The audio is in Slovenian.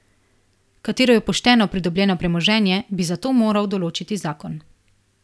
Katero je pošteno pridobljeno premoženje, bi zato moral določiti zakon.